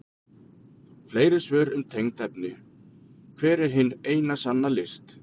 Fleiri svör um tengd efni: Hver er hin eina sanna list?